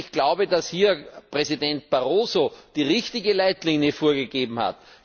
Ich glaube, dass hier Präsident Barroso die richtige Leitlinie vorgegeben hat.